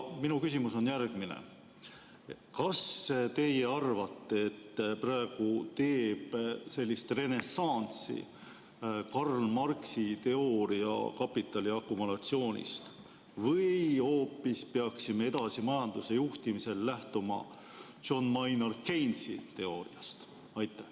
Minu küsimus on järgmine: kas teie arvates teeb praegu renessanssi Karl Marxi kapitali akumulatsiooni teooria või peaksime edaspidi majanduse juhtimisel lähtuma hoopis John Maynard Keynesi teooriast?